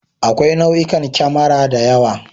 Akwai nau'ikan kemara da yawa.